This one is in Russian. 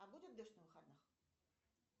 а будет дождь на выходных